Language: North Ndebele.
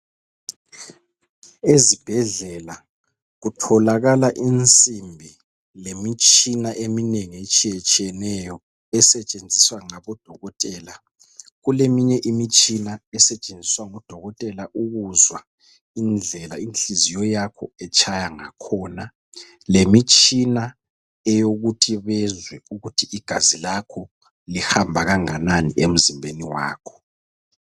Ezibhedlela kutholakala insimbi lemitshina eminengi etshiyatshiyeneyo esetshenziswa ngabodokotela, kuleminye imitshina esetshenziswa ngodokotela ukuzwa indlela inhliziyo yakho etshaya ngakhona lemitshina eyokuthi bezwe ukuthi igazi lakho lihamba kanganani emzimbeni wakho.